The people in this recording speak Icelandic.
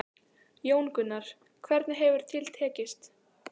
Jón Gunnar, hvernig hefur til tekist?